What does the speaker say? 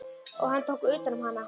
Og hann tók utan um hana.